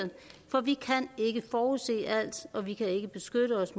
for vi kan ikke forudse alt og vi kan ikke beskytte os